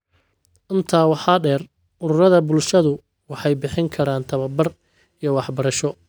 Intaa waxaa dheer, ururada bulshadu waxay bixin karaan tababar iyo waxbarasho.